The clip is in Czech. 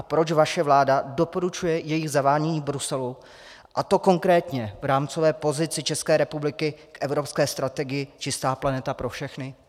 A proč vaše vláda doporučuje jejich zavádění v Bruselu, a to konkrétně v rámcové pozici České republiky k evropské strategii Čistá planeta pro všechny?